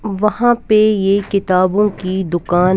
वहां पे ये किताबों की दुकान.